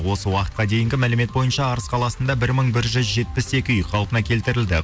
осы уақытқа дейінгі мәлімет бойынша арыс қаласында бір мың бір жүз жетпіс екі үй қалпына келтірілді